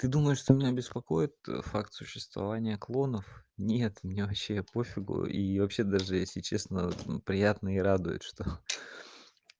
ты думаешь что меня беспокоит факт существования клонов нет меня вообще пофигу и вообще даже если честно приятно и радует что